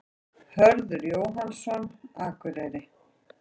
Hörður Jóhannsson, Akureyri